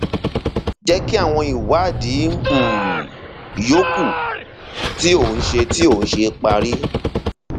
jẹ kí àwọn ìwádìí um yòókù tí ó ń tí ó ń ṣe parí